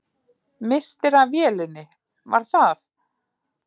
Misstir af vélinni, var það?